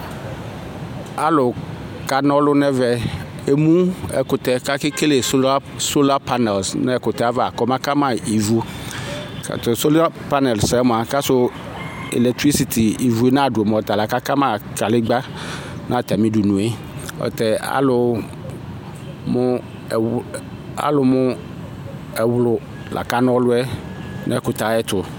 Alu kanɔlʋ nʋ ɛvɛ Emu ɛkʋtɛ kʋ akekele sɔlapanɛlisɩnʋ ɛkʋtɛ yɛ ava kɔma kama ivu Ɔtatʋ sɔlapanɛlisɩ yɛ mua, kasu mʋ elɛkɩtɩlɩsitɩ ivu nadu, mɛ otala kakama kalegbǝ nʋ atami udunu yɛ Ayɛlutɛ alu mʋ ɛwlʋ la kanɔlʋ yɛ nʋ ɛkʋtɛ yɛ ayɛtʋ